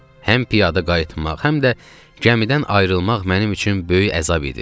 Həm piyada qayıtmaq, həm də gəmidən ayrılmaq mənim üçün böyük əzab idi.